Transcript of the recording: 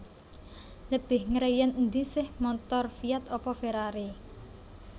Lebih ngreyen endi seh montor Fiat apa Ferrari?